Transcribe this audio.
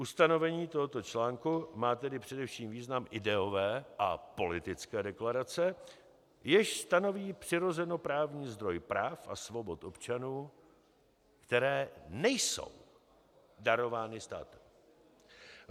Ustanovení tohoto článku má tedy především význam ideové a politické deklarace, jež stanoví přirozenoprávní zdroj práv a svobod občanů, které nejsou darovány státem.